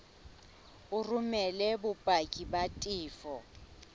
o romele bopaki ba tefo